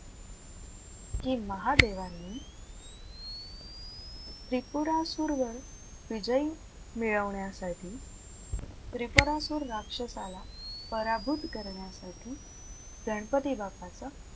की महादेवांनी त्रिपुरासुरवर विजय मिळवण्यासाठी त्रिपुरासुर राक्षसाला पराभूत करण्यासाठी गणपती बाप्पाचं,